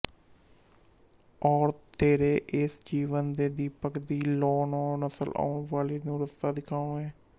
ਔਰ ਤੇਰੇ ਏਸ ਜੀਵਨ ਦੇ ਦੀਪਕ ਦੀ ਲੌ ਨੇ ਨਸਲ ਆਉਣ ਵਾਲੀ ਨੂੰ ਰਸਤਾ ਦਿਖਾਉਣੈਂ